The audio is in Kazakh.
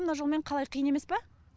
мына жолмен қалай қиын емес па